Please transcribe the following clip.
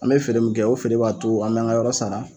An bɛ feere min kɛ o feere b'a to an bɛ an ŋa yɔrɔ sara